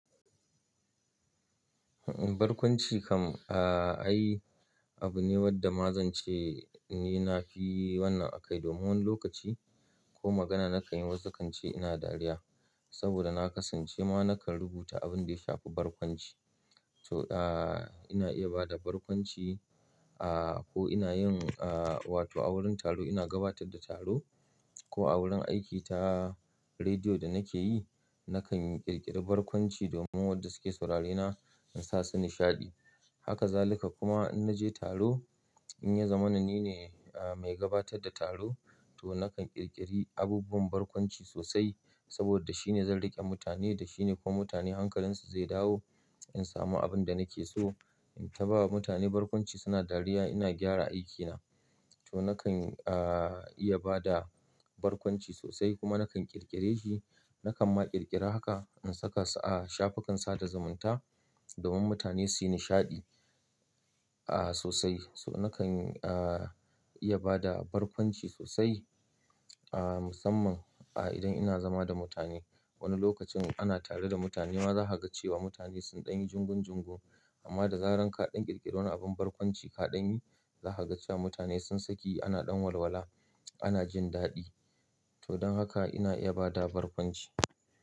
Barkwanci kam, ai abu ne wadda ma zan ce ni nafi wannan a kai domin wani lokaci ko magana na kan yi wasu kan ce ina dariya, saboda na kasance ma na kan rubuta abin da ya shafi barkwanci. To, ina iya ba da barkwanci ko ina yin wato a wurin taro ina gabatar da taro ko a wurin aiki ta rediyo da nake yi, na kan yi ƙirƙiri barkwanci domin wanda suke saurarena in sa su nishaɗi. Haka zalika kuma in naje taro, in ya zama na ni ne mai gabatar da taro to na kan ƙirƙiri abubuwan barkwanci sosai saboda shine zan riƙe mutane da shine kuma mutane hankalinsu zai dawo in samu abin da nake so. In ta bawa mutane barkwanci suna dariya ina gyara aikina. To na kan iya ba da barkwanci sosai kuma na kan ƙirƙire shi. Na kan ma ƙirƙira haka in saka a shafukan sada zumunta, domin mutane su yi nishaɗi sosai. So na kan iya ba da barkwanci sosai musamman idan ina zama da mutane. Wani lokacin ana tare da mutane ma za ka ga cewa mutane sun ɗanyi jungun jungu amma da zaran kaɗan ƙirƙiro abin barkwanci kaɗan yi, za ka ga cewa mutane sun sake ana ɗan walwala ana jin daɗi. To don haka ina iya ba da barkwanci.